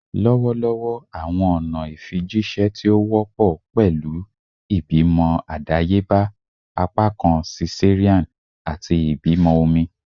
Lọwọlọwọ awọn ọna ifijiṣẹ ti o wọpọ pẹlu ibimọ adayeba, apakan cesarean, ati ibimọ omi